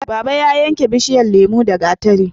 Baba ya yanke bishiyan lemo da gatari